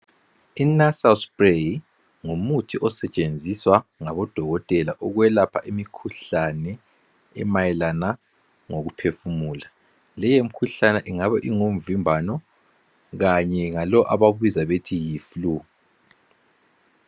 INasal spray ngumuthi osetshenziswa ngabodokotela ukwelapha imikhuhlane emayelana ngokuphefumula leyi mkhuhlane ingabe ingumvimbano kanye lalo abawubiza bethi yi flue.